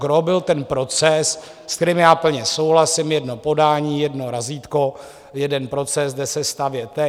Gros byl ten proces, s kterým já plně souhlasím - jedno podání, jedno razítko, jeden proces, jde se stavět.